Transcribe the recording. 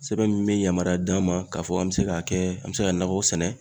Sɛbɛn min bɛ yamaruya d'an ma k'a fɔ an bɛ se k'a kɛ an bɛ se ka nakɔ sɛnɛ